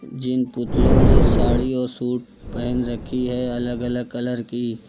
जिन पुतलों ने साड़ी और सूट पहन रखी है अलग अलग कलर की।